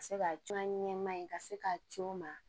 Ka se ka cun a ɲɛma in ka se ka co ma